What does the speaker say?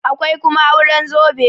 akwai kuma auren zobe